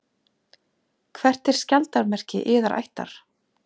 Hvert er skjaldarmerki yðar ættar?